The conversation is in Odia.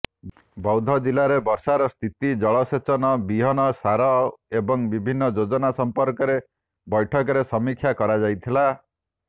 ବୈାଦ୍ଧଜିଲ୍ଲାରେ ବର୍ଷାର ସ୍ଥିତି ଜଳସେଚନ ବିହନ ସାର ଏବଂ ବିଭିନ୍ନ ଯୋଜନା ସମ୍ପର୍କରେ ବୈଠକରେ ସମୀକ୍ଷା କରାଯାଇଥିଲା